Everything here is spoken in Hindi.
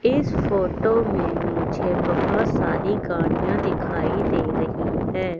इस फोटो में मुझे बहोत सारी गाड़ियां दिखाई दे रही है।